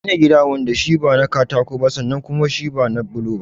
Ka gina gida wanda shi ba na katako ba sannan kuma shi ba na bulo ba.